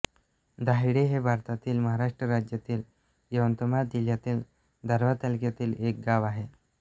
दाहेळी हे भारतातील महाराष्ट्र राज्यातील यवतमाळ जिल्ह्यातील दारव्हा तालुक्यातील एक गाव आहे